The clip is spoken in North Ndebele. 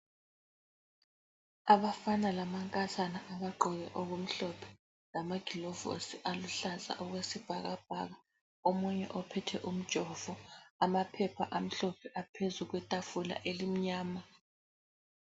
Abafana lamankazana abagqoke okumhlophe, lamaglovosi aluhlaza okwesibhakabhaka. Omunye uphethe umjovo. Amaphepha amhlophe aphezu kwetafula elimnyama.